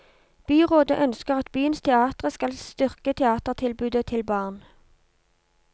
Byrådet ønsker at byens teatre skal styrke teatertilbudet til barn.